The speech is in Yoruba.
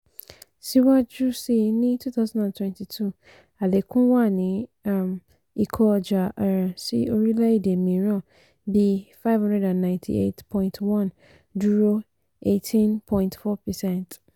síwájú sí ní twenty twenty two àlékún wà ní um ìkó ọjà um sí orílẹ̀ èdè mìíràn bí five hundred ninety eight point one dúró eighteen point four percent.